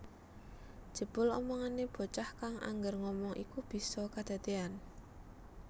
Jebul omongane bocah kang angger ngomong iku bisa kedadean